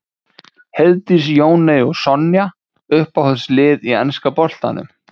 Heiðdís, Jóney og Sonja Uppáhalds lið í enska boltanum?